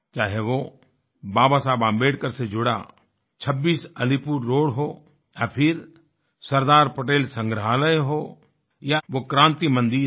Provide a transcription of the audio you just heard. चाहे वो बाबा साहेब आंबेडकर से जुड़ा 26 अलीपुर रोड हो या फिर सरदार पटेल संग्रहालय हो या वो क्रांति मंदिर हो